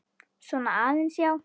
Svona aðeins, já.